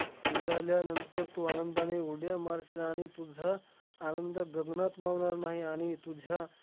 मिळाल्यानंतर तू आनंदाने उड्या मारशील, आणि तुझा आनंद गगनात मावणार नाही. आणि तुझ्या